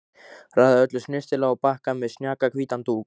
Raðaði öllu snyrtilega á bakka með snjakahvítum dúk.